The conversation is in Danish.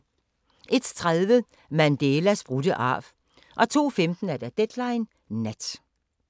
01:30: Mandelas brudte arv 02:15: Deadline Nat